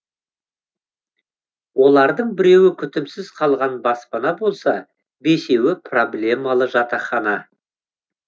олардың біреуі күтімсіз қалған баспана болса бесеуі проблемалы жатақхана